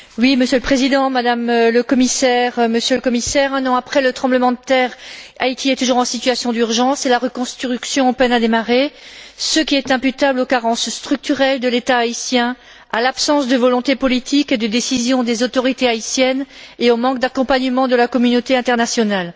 Monsieur le Président, Madame la Commissaire, Monsieur le Commissaire, un an après le tremblement de terre, Haïti est toujours en situation d'urgence et la reconstruction peine à démarrer, ce qui est imputable aux carences structurelles de l'État haïtien, à l'absence de volonté politique et de décision des autorités haïtiennes et au manque d'accompagnement de la communauté internationale.